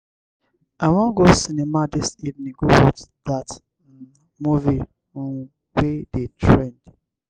i wan go cinema dis evening go watch dat um movie um wey dey trend.